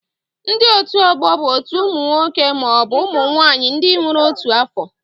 Ndị otu ọgbọ bụ otu ụmụ nwoke maọbụ ụmụ nwaanyị ndị nwere otu afọ